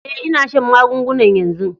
Eh, n'na shan magungunan yanzu.